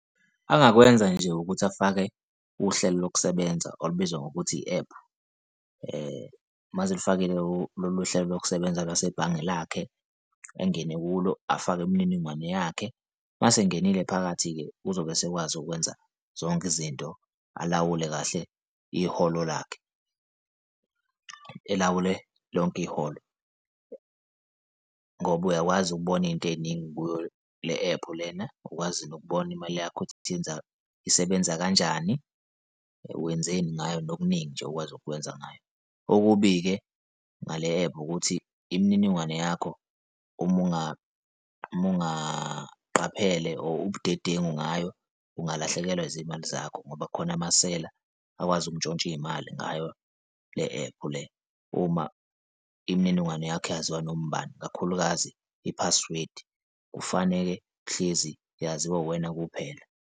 Angakwenza nje ukuthi afake uhlelo lokusebenza olubizwa ngokuthi i-ephu uma eselifakile lolu uhlelo lokusebenza lase bhange lakhe engene kulo, afake imininingwane yakhe uma esengenile phakathi-ke uzobe esekwazi ukwenza zonke izinto, alawule kahle iholo lakhe, elawule lonke iholo ngoba uyakwazi ukubona iy'nto ey'ningi kuyo le-ephu lena ukwazi nokubona imali yakhe ukuthi yenza, isebenza kanjani, wenzeni ngayo nokuningi nje okwazi ukwenza ngayo. Okubi-ke ngale-ephu ukuthi imininingwane yakho uma, uma ungaqapheli obudedengu ngayo, ungalahlekelwa izimali zakho ngoba kukhona amasela akwazi ukuntshontsha iy'mali ngayo le-ephu le uma imininingwane yakho yaziwa noma ubani, ikakhulukazi i-password kufaneke kuhlezi yaziwa uwena kuphela.